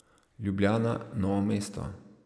Ljubljana, Novo mesto.